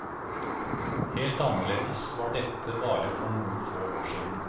Helt annerledes var dette bare for noen få år siden.